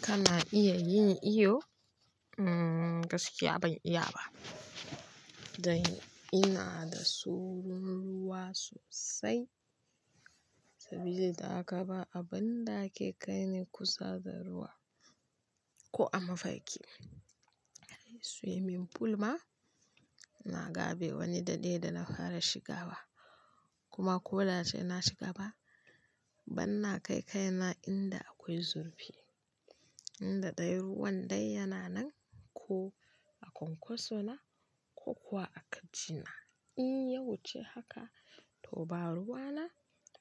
Kana iya yin iyo? Gaskiya ban iya ba. Dan ina da tsoron ruwa sosai. Saboda haka ba abin da ake kai ni kusa da ruwa ko a mafarki. Swimming pool ma na gabe wani daɗe da na fara shiga ba kuma koda sai na shiga ba, ban na kai kaina inda akwai zurfi, inda ɗayan ruwan dai yana nan ko a kwankwaso na ko kuwa a kajina. In ya wuce haka to ba ruwa na.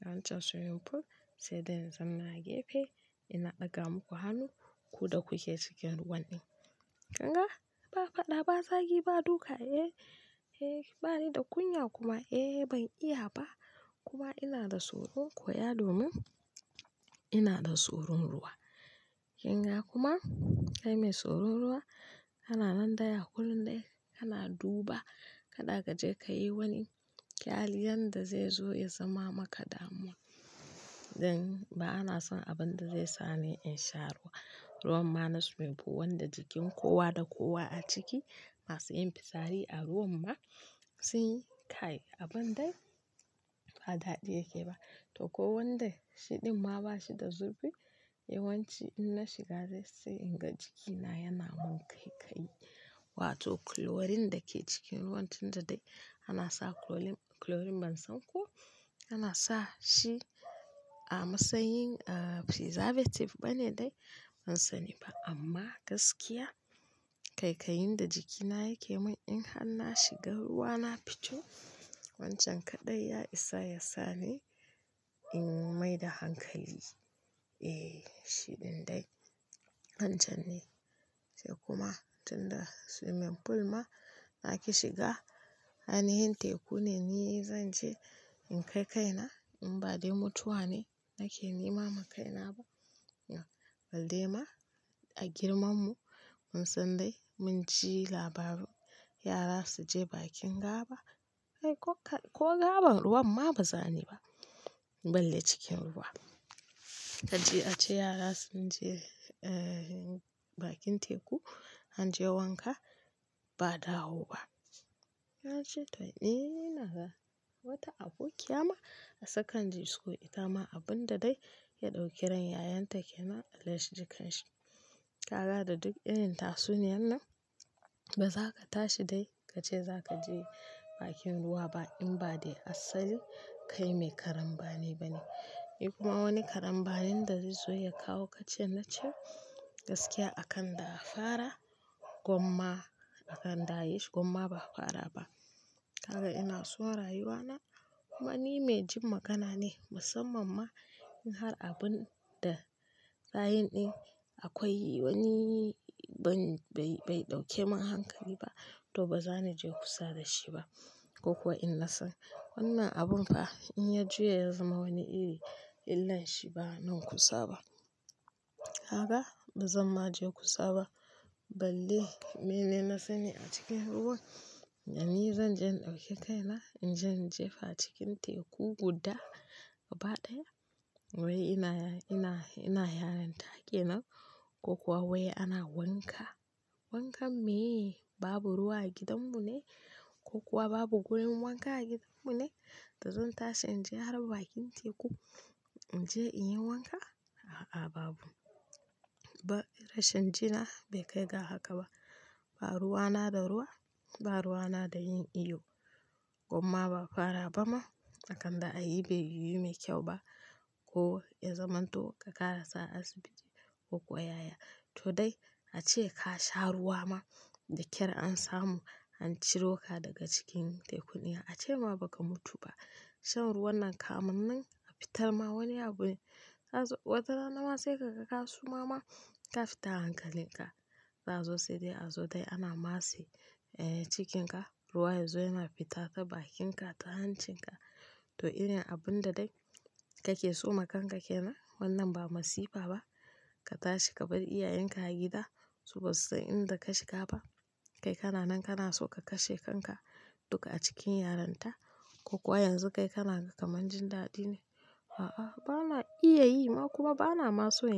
Wancan swimming pool sai dai na zanna a gefe ina ɗaga muku hannu ku da kuke cikin ruwan din. Kanga? Ba fada ba zagi ba duka eh, eh bani da kunya kuma eh ban iya ba kuma ina da tsoro koya domin ina da tsoron ruwa. Kin ga kuma kai mai tsoron ruwa kana nan daya kullum dai kana duba kada ka je ka yi wani kyali yanda zai zo ya zama maka damuwa. Dan ba ana son abin da zai sa ni in sha ruwa. Ruwan ma na swimming pool wanda jikin kowa da kowa a ciki masu yin fitsari a ruwan ma sun yi kai abin dai ba daɗi yake ba. To kowanda shiɗin ma ba shi da zurfi yawanci in na shiga dai sai in ga jikina yana mun kaikayi. Wato chlorine da ke cikin ruwan tun da dai ana sa chlorine, chlorine ban san ko ana sa shi a matsayin, ah, preservative bane dai ban sani ba amma gaskiya kaikayin da jikina yake mun in har na shiga ruwa na fito wancan kaɗai ya isa ya sa ni in yi maida hankali. Eh shiɗin dai wancan ne sai kuma tun da swimming pool ma nake shiga hanyar teku ne ni zan je in kai kaina in ba dai mutuwa ne nake nema ma kaina ba. Balle ma a girmarmu mun san dai mun ji labaru yara su je bakin gaba ai ko gaban ruwan ma ba za ni ba. Balle cikin ruwa. Ka ji a ce yara sun je, eh, bakin teku an je wanka ba'a dawo ba. Na ce to ne naga wata abokiya ma a sakandare school ita ma abin da dai ya ɗauki ran yayanta kenan allah yaji kanshi. Kaga da duk irin tatsuniyan nan ba za ka tashi dai ka ce za ka je bakin ruwa ba in ba dai asali kai mai karambane ba ne. Eh kuma wani karambanin da zai zo ya kawo ka ce na ce. Gaskiya akan da a fara gwamma akan da a yi shi gwamma ba a fara ba. Kaga ina so rayuwa na kuma ni mai jin magana ne musamman ma in har abin da zahirin akwai wani, ban, bai, bai ɗauke mun hankali ba. To ba za ni je kusa da shi ba ko kuwa in na san wannan abun fa in ya juya ya zama wani iri illan shi ba nan kusa ba. Kaga ba zan ma je kusa ba balle mene na sani a cikin ruwan. Ni zan je in ɗauke kaina in je in jefa cikin teku guda gaba ɗaya. Wai ina, ina, ina yaranta kenan ko kuwa wai ana wanka? Wankan me? Babu ruwa a gidanmu ne ko kuwa babu gurin wanka a gidanmu ne da zan tashi in je har bakin teku in je in yi wanka? A'a babu. Ba rashan jina bai kai ga haka ba. Ba ruwa na da ruwa ba ruwa na da yin iyo. Gwamma ba a fara ba ma akan da a yi bai yiwu mai kyau ba. Ko ya zamanto ka ƙara sa asibiti ko kuwa yaya. To dai ace ka sha ruwa ma da ƙyar an samu an ciro ka daga cikin tekuniya ace ma ba ka mutu ba. Shan ruwan nan kam nan a fitar ma wani abu wata rana ma sai ka ga ka suma ma ka fita hankalin ka. Zazo sai dai a zo dai ana matse, eh, cikin ka ruwa ya zo yana fita ta bakinka ta hancin ka. To irin abun da dai kake so ma kanka kenan wannan ba masifa ba. Ka tashi ka bar iyayenka a gida su ba su san inda ka shiga ba. Kai kana nan kana so ka kashe kanka duka a cikin yaranta ko kuwa yanzu kai kana kaman jin daɗi ne. A'a bana iya yi ma kuma bana ma son yin.